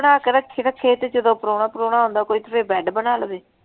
ਬਣਾ ਕੇ ਰੱਖੀ ਰੱਖੇ ਤੇ ਜਦੋਂ ਪ੍ਰਾਹੁਣਾ ਪਰੂਣਾ ਆਉਂਦਾ ਕੋਈ ਤੇ ਫਿਰ ਬੈਡ ਬਣਾ ਲਵੇ।